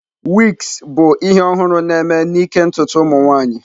Wigs bụ ihe ọhụrụ na-eme n'ịke ntutu ụmụ nwanyị.